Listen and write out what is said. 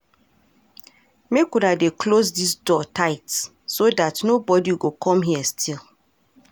Make una dey close dis door tight so dat nobody go come here steal